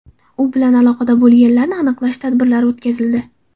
U bilan aloqada bo‘lganlarni aniqlash tadbirlari o‘tkazildi.